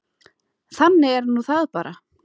Þannig er nú það bara.